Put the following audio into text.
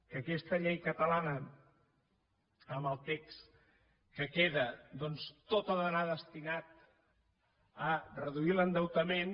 que aquesta llei catalana amb el text que queda doncs tot ha d’anar destinat a reduir l’endeutament